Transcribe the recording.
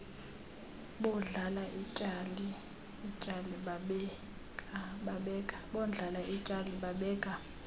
bondlala ityali babeka